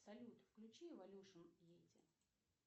салют включи эволюшн йети